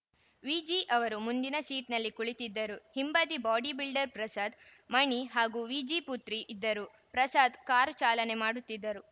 ವಿಜಿ ಅವರು ಮುಂದಿನ ಸೀಟ್‌ನಲ್ಲಿ ಕುಳಿತಿದ್ದರು ಹಿಂಬದಿ ಬಾಡಿ ಬಿಲ್ಡರ್‌ ಪ್ರಸದ್‌ ಮಣಿ ಹಾಗೂ ವಿಜಿ ಪುತ್ರ ಇದ್ದರು ಪ್ರಸಾದ್‌ ಕಾರು ಚಾಲನೆ ಮಾಡುತ್ತಿದ್ದರು